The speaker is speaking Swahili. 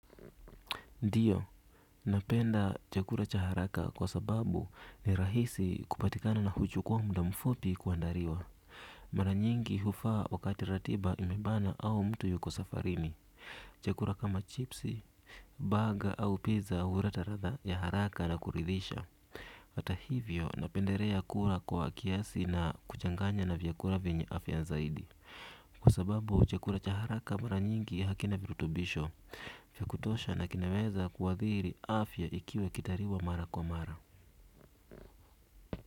Ndiyo napenda chakula cha haraka kwa sababu ni rahisi kupatikana na huchukuwa muda mfupi kuandaliwa. Mara nyingi hufaa wakati ratiba imebana au mtu yuko safarini. Chakula kama chipsi, baga au pizza huleta ladha ya haraka na kuridhisha. Hata hivyo, napendelea kula kwa kiasi na kuchanganya na vyakula venye afya zaidi. Kwa sababu chaka cha haraka mara nyingi hakina virutubisho. Kwa kutosha na kinaweza kuadhiri afya ikiwe ikitayiriwa mara kwa mara.